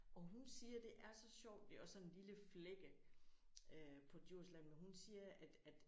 Og hun siger det er så sjovt det er også sådan en lille flække øh på Djursland men hun siger at at